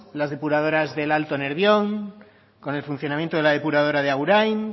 la depuradoras del alto nervión con el funcionamiento de la depuradora de agurain